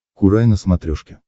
курай на смотрешке